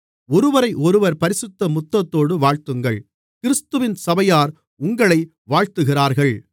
ஒருவரையொருவர் பரிசுத்த முத்தத்தோடு வாழ்த்துங்கள் கிறிஸ்துவின் சபையார் உங்களை வாழ்த்துகிறார்கள்